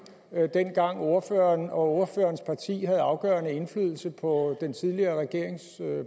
dengang ordføreren og ordførerens parti havde afgørende indflydelse på den tidligere regerings